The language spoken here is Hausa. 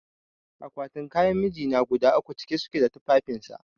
Akwatin kayan mijina guda uku cike suke da tufafin sa